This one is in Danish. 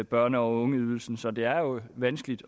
børne og ungeydelsen så det er jo vanskeligt